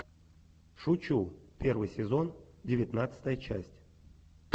шучу первый сезон девятнадцатая часть